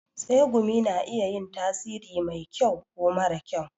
Tsegumi na iya yin tasiri mai kyau ko mara kyau.